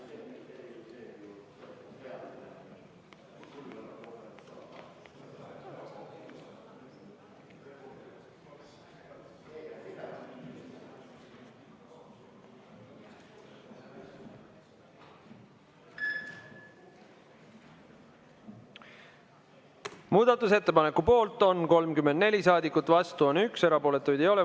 Muudatusettepaneku poolt on 34 saadikut, vastu on 1, erapooletuid ei ole.